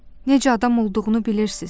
Necə adam olduğunu bilirsiz?